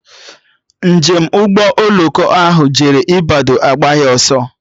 Njem Ụgbọ oloko ahụ jere Ịbadọ agbaghị ọsọ